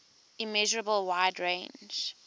immeasurable wide range